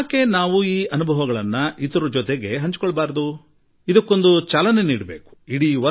ನಾವೇಕೆ ನಮ್ಮ ಅನುಭವಗಳನ್ನು ಇತರರೊಡನೆ ಹಂಚಿಕೊಳ್ಳಬಾರದು ಇದಕ್ಕೊಂದು ಚಾಲನೆ ನೀಡೋಣ